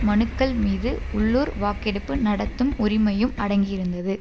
மனுக்கள்மீது உள்ளுர் வாக்கெடுப்பு நடத்தும் உரிமையும் அடங்கியிருந்தது